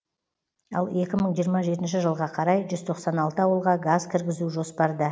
ал екі мың жиырма жетінші жылға қарай жүз тоқсан алты ауылға газ кіргізу жоспарда